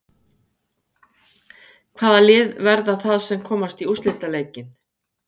Hvaða lið verða það sem komast í úrslitaleikinn?